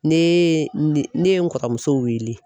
Ne ye ne ye n kɔrɔrɔmuso wele.